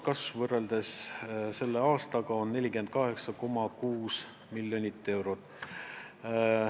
Kasv võrreldes selle aastaga on 48,6 miljonit eurot.